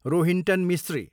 Rohinton Mistry